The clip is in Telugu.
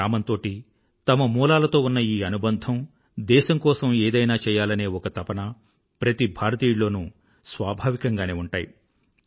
తమ గ్రామంతోటీ తన మూలాలతో ఉన్న ఈ అనుబంధం దేశం కోసం ఏదైనా చెయ్యాలనే ఒక తపన ప్రతి భారతీయుడిలోనూ స్వాభావికంగానే ఉంటాయి